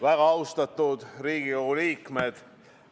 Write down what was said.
Väga austatud Riigikogu liikmed!